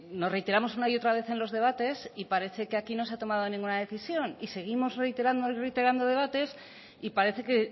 nos reiteramos una y otra vez en los debates y parece ser que aquí no se ha tomado ninguna decisión y seguimos reiterando reiterando debates y parece que